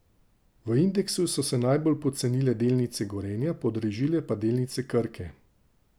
V indeksu so se najbolj pocenile delnice Gorenja, podražile pa delnice Krke.